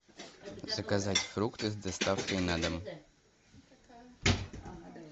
заказать фрукты с доставкой на дом